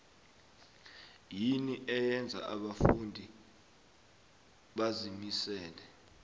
yini okwenza abafundi bazimisele